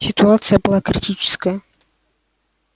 ситуация была критическая